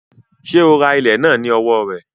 Sé o ra ilẹ̀ náà ní owó rẹ̀?